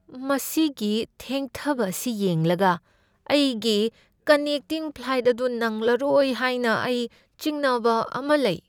ꯃꯁꯤꯒꯤ ꯊꯦꯡꯊꯕ ꯑꯁꯤ ꯌꯦꯡꯂꯒ ꯑꯩꯒꯤ ꯀꯟꯅꯦꯛꯇꯤꯡ ꯐ꯭ꯂꯥꯏꯠ ꯑꯗꯨ ꯅꯪꯂꯔꯣꯏ ꯍꯥꯏꯅ ꯑꯩ ꯆꯤꯡꯅꯕ ꯑꯃ ꯂꯩ꯫